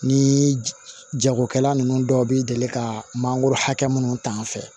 Ni jagokɛla ninnu dɔw bɛ deli ka mangoro hakɛ minnu ta fɛ